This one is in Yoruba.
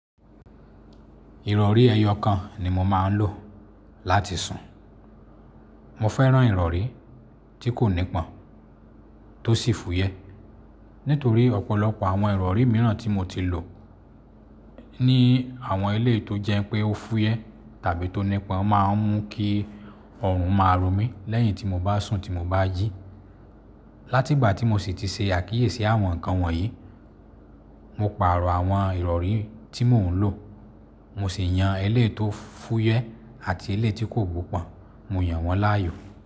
Ìrọ̀rí ẹyọ kan ni mo máa ń lò láti sùn. Mo fẹ́ràn ìrọ̀rí tí kò nípọn tó sì fúyẹ́. Nítorí ọ̀pọ̀lọpọ̀ àwọn ìrọ̀rí mìíràn tí mo ti lò ní àwọn ilé tó jẹ́ pé ó fúyẹ́ tàbí tó nípọn máa ń mú kí ọrùn máa ro mi lẹ́yìn tí mo bá sùn tí mo bá jí. Láti ìgbà tí mo sì ti ṣe àkíyèsí àwọn nǹkan wọ̀nyí, mo pààrọ̀ àwọn ìrọ̀rí tí mò ń lò. Mo sì yan elé tó fúyẹ́ àti elé tí kò wùpọ̀, mo yan wọ́n láàyò.